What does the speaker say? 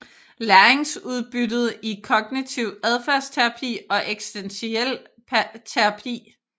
Læringsudbyttet i kognitiv adfærdsterapi og eksistentiel terapi